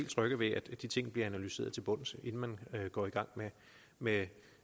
trygge ved at de ting bliver analyseret til bunds inden man går i gang med